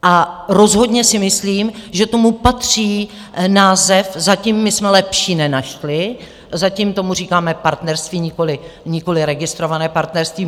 A rozhodně si myslím, že tomu patří název, zatím my jsme lepší nenašli, zatím tomu říkáme partnerství, nikoliv registrované partnerství.